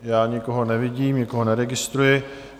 Já nikoho nevidím, nikoho neregistruji.